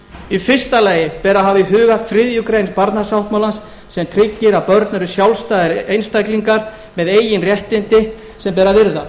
í fyrsta lagi ber að hafa í huga þriðju grein barnasáttmálans sem tryggir að börn eru sjálfstæðir einstaklingar með eigin réttindi sem ber að virða